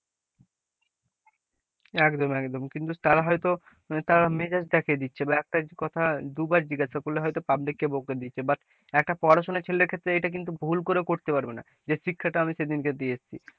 একদম একদম, কিন্তু তারা হয়তো তারা মেজাজ দেখিয়ে দিচ্ছে বা একটা কথা দুবার জিজ্ঞেসা করলে হয়তো public কে বকে দিচ্ছে, বা একটা পড়াশোনার ছেলের ক্ষেত্রে এটা কিন্তু ভুল করেও করতে পারবে না, যে শিক্ষাটা আমি সেদিনকে দিয়ে এসেছি,